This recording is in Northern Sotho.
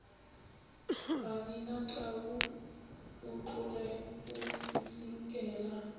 babinatau o tloge o tsitsinkele